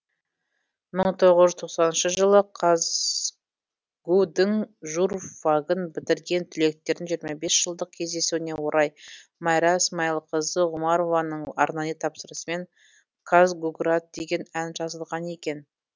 мың тоғыз жүз тоқсаныншы жылы казгу дің журфагын бітірген түлектердің жиырма бес жылдық кездесуіне орай майра смайылқызы ғұмарованың арнайы тапсырысымен казгуград деген ән жазылған екен